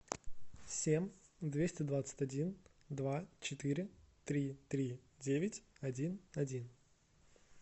семь двести двадцать один два четыре три три девять один один